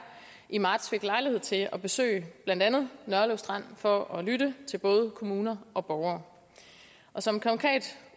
i marts fik lejlighed til at besøge blandt andet nørlev strand for at lytte til både kommuner og borgere som konkret